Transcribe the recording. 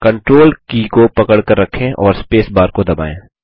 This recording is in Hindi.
कंट्रोल की को पकड़कर रखें और स्पेस बार को दबायें